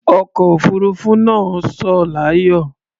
Ọkọ̀ òfuruufú náà sọ̀ láyọ̀.